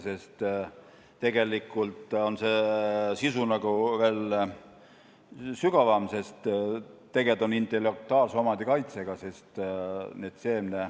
Sest tegelikult on see sisu veel sügavam, kuivõrd tegemist on intellektuaalse omandi kaitsega.